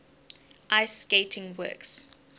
ice skating works